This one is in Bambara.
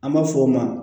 An b'a fɔ o ma